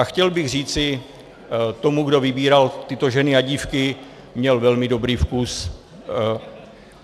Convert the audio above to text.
A chtěl bych říci tomu, kdo vybíral tyto ženy a dívky, měl velmi dobrý vkus.